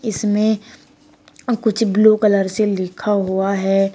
इसमें कुछ blue colour से लिखा हुआ है।